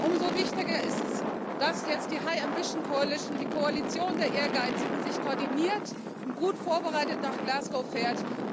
Umso wichtiger ist es, dass jetzt die High Ambition Coalition die Koalition der Ehrgeizigen sich koordiniert und gut vorbereitet nach Glasgow fährt.